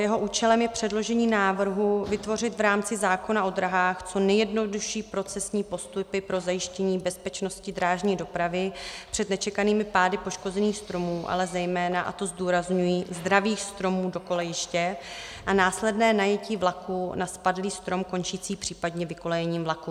Jeho účelem je předložení návrhu vytvořit v rámci zákona o dráhách co nejjednodušší procesní postupy pro zajištění bezpečnosti drážní dopravy před nečekanými pády poškozených stromů, ale zejména, a to zdůrazňuji, zdravých stromů do kolejiště a následné najetí vlaků na spadlý strom končící případně vykolejením vlaků.